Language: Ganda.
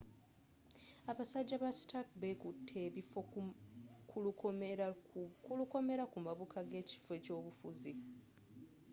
abasajja ba stark bekutte ebifo ku lukomera ku mabuka g'ekifo ky'obufuzi